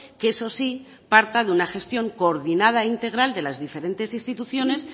que eso sí parta de una gestión coordinada e integral de las diferentes instituciones